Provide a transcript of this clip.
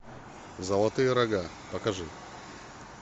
золотые рога покажи